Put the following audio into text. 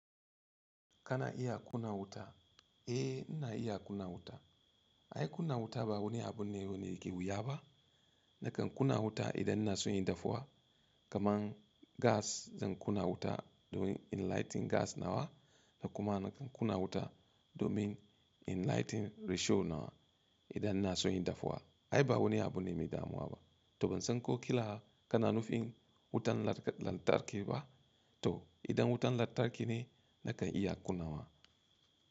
Kana iya ƙunna wuta? Eh, ina iya kunna wuta. Ai, kunna wuta ba wani abu ne wanda ke wuya ba. Nakan kuna wuta idan na so yin dafuwa. Kaman gas zan kuna wuta domin in lighting gas nawa da kuma nakan ƙuna wuta domin in lighting risho nawa idan na so yin dafuwa. Ai, ba wani abu ne mai damuwa ba. To ban san ko kila kana nufin wutan lantarki ba? To idan wutan lantarki ne nakan iya ƙuna wa.